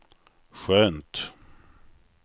skönt